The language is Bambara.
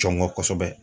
Jɔn ŋɔ kɔsɛbɛ